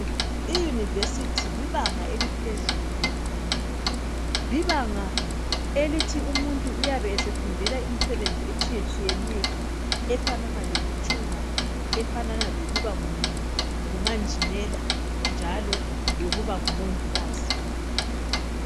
I university libanga eliphezulu lemfundo. Libanga elithi umuntu uyabe esefundela imisebenzi etshiyatshiyeneyo efanana lokuthunga, efanana lokuba ngu ngumanjinela, njalo lokuba ngumongikazi.